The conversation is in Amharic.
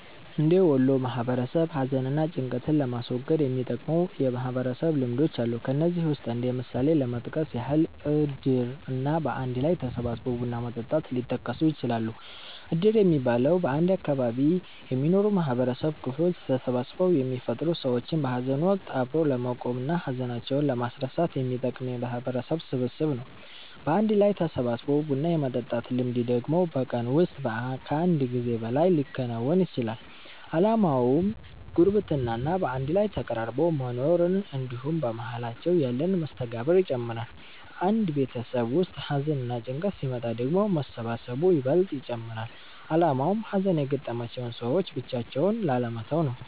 እንደ ወሎ ማህበረሰብ ሀዘን እና ጭንቀትን ለማስወገድ የሚጠቅሙ የማህበረሰብ ልምዶች አሉ። ከነዚህም ውስጥ እንደ ምሳሌ ለመጥቀስ ያህል እድር እና በአንድ ላይ ተሰባስቦ ቡና መጠጣት ሊጠቀሱ ይችላሉ። እድር የሚባለው፤ በአንድ አካባቢ የሚኖሩ የማህበረሰብ ክፍሎች ተሰባስበው የሚፈጥሩት ሰዎችን በሀዘን ወቀት አብሮ ለመቆም እና ሀዘናቸውን ለማስረሳት የሚጠቅም የማህበረሰብ ስብስብ ነው። በአንድ ላይ ተሰባስቦ ቡና የመጠጣት ልምድ ደግሞ በቀን ውስጥ ከአንድ ጊዜ በላይ ሊከወን ይችላል። አላማውም ጉርብትና እና በአንድ ላይ ተቀራርቦ መኖርን እንድሁም በመሃላቸው ያለን መስተጋብር ይጨምራል። አንድ ቤተሰብ ውስጥ ሀዘንና ጭንቀት ሲመጣ ደግሞ መሰባሰቡ ይበልጥ ይጨመራል አላማውም ሀዘን የገጠማቸውን ሰዎች ብቻቸውን ላለመተው ነው።